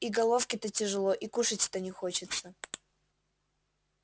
и головке-то тяжело и кушать-то не хочется